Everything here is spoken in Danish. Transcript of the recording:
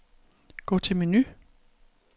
Gå til menu.